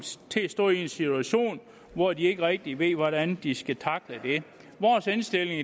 til at stå i en situation hvor de ikke rigtig ved hvordan de skal tackle det vores indstilling